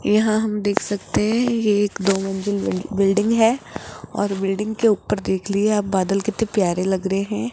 यहाँ हम देख सकते हैं ये एक दो मंजिल बि बिल्डिंग है और बिल्डिंग के ऊपर देख लिया आप बादल कितने प्यारे लग रहे हैं।